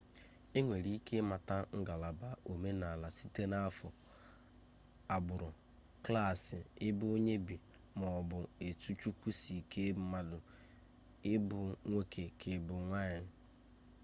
enwere ike imata ngalaba omenala site na afo agburu klaasi ebe onye bi ma o bu etu chukwu si kee mmadu i bu nwoke ka ibu nwanyi